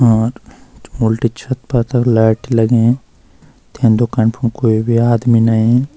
आठ उल्टी छत प तख लैट लगीं तै दुकानी फुंड कोए भी आदमी नहीं।